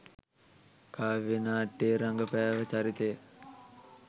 කාව්‍යා නාට්‍යයේ රඟපෑව චරිතය